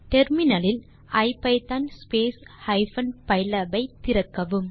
terminal லில் ஐபிதான் hyphen பைலாப் ஐ திறக்கவும்